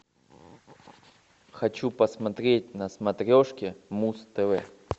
хочу посмотреть на смотрешке муз тв